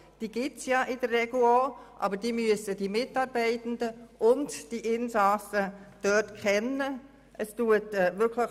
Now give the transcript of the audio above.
Diese existieren in der Regel auch, aber sowohl die Mitarbeitenden wie auch die Insassen müssen sie kennen.